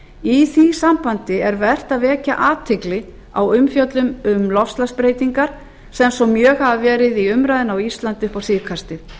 í því sambandi er vert að vekja athygli á umfjöllun um loftslagsbreytingar sem svo mjög hafa verið í umræðunni á íslandi upp á síðkastið